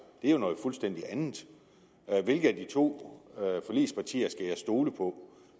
det er jo noget fuldstændig andet hvilke af de to forligspartier skal jeg stole på